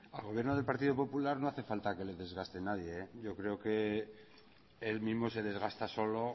al gobierno del partido popular no hace falta que le desgaste nadie yo creo que él mismo se desgasta solo